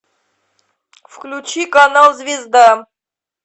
включи канал звезда